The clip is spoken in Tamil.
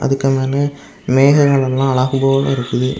இதுகணனு மேகங்கலெல்லா அழகு போல இருக்குது.